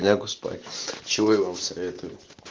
лягу спать чего и вам советую